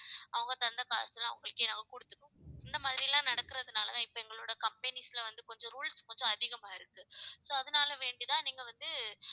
அவங்க தந்த காசெல்லாம் அவங்களுக்கே நாங்க கொடுத்துட்டோம். இந்த மாதிரி எல்லாம் நடக்கிறதுனாலதான் இப்ப எங்களோட companies ல வந்து கொஞ்சம் rules கொஞ்சம் அதிகமா இருக்கு. so அதனால வேண்டி தான் நீங்க வந்து